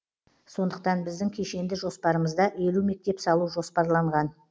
сондықтан біздің кешенді жоспарымызда елу мектеп салу жоспарланған